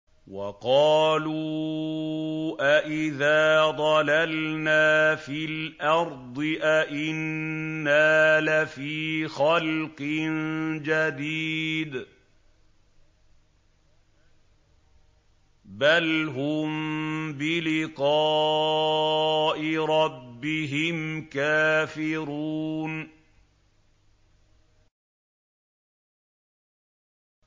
وَقَالُوا أَإِذَا ضَلَلْنَا فِي الْأَرْضِ أَإِنَّا لَفِي خَلْقٍ جَدِيدٍ ۚ بَلْ هُم بِلِقَاءِ رَبِّهِمْ كَافِرُونَ